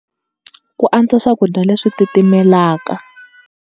Ku antswa swakudya leswi titimelaka.